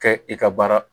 Kɛ i ka baara